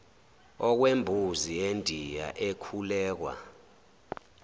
okwembuzi yendiya ekhulekwa